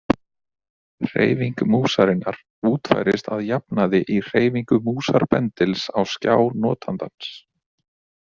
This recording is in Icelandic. Hreyfing músarinnar útfærist að jafnaði í hreyfingu músarbendils á skjá notandans.